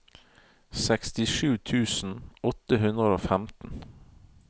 sekstisju tusen åtte hundre og femten